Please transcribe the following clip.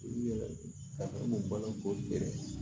I yɛrɛ ka baloko yɛrɛ